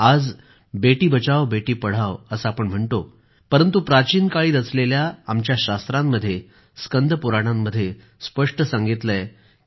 आज बेटी बचाओ बेटी पढाओ असं आपण म्हणतो परंतु प्राचीन काळी रचलेल्या आमच्या शास्त्रांमध्ये स्कंदपुराणांमध्ये स्पष्ट सांगितलं आहे की